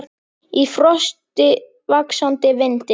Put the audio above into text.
Í frosti, vaxandi vindi.